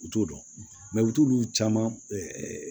U t'o dɔn u t'olu caman